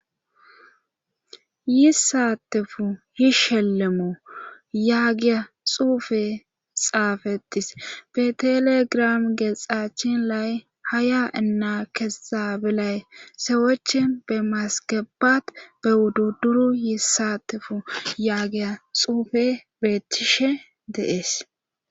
yissatefu hi shelemo yaagiya xuufe xaafetis be telegram geexachin lay haya inna kesxabelay sewochi be masgebat be wudduduru yissatefu yaagiya xuufe beetishe deees